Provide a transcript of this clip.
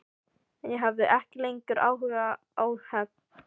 En ég hafði ekki lengur áhuga á hefnd.